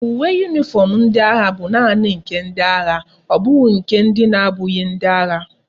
Uwe uniform ndi agha bu naani nke ndi agha obughi nke ndi na abughi ndi agha